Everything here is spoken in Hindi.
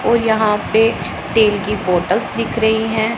ओ यहां पे तेल की बोटल्स दिख रही है।